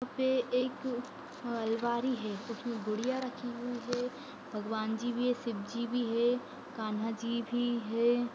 वहा पे एक अ अलमारी है उसमें गुड़िया रखी हुई है भगवान जी भी है शिव जी भी है कान्हा जी भी है ।